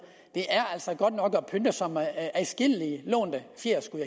er altså godt nok at pynte sig med adskillige lånte fjer skulle